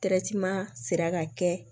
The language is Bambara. sera ka kɛ